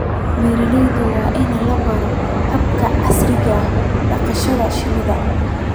Beeralayda waa in la baro hababka casriga ah ee dhaqashada shinida.